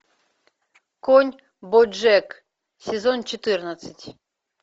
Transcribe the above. конь бо джек сезон четырнадцать